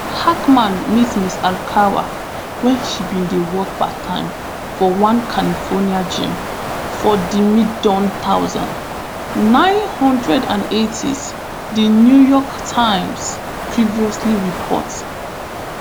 hackman meet ms arakawa wen she bin dey work parttime for one california gym for di miAccepted thousand, nine hundred and eightys di new york times previously report